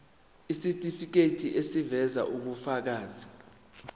isitifiketi eziveza ubufakazi